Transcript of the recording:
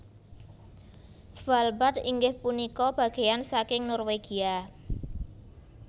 Svalbard inggih punika bageyan saking Norwegia